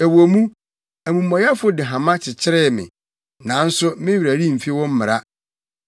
Ɛwɔ mu, amumɔyɛfo de hama kyekyere me, nanso me werɛ remfi wo mmara.